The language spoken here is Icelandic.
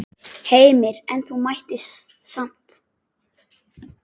Heimir: En þú mættir samt?